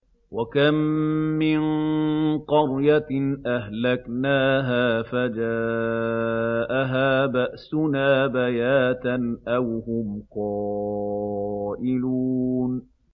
وَكَم مِّن قَرْيَةٍ أَهْلَكْنَاهَا فَجَاءَهَا بَأْسُنَا بَيَاتًا أَوْ هُمْ قَائِلُونَ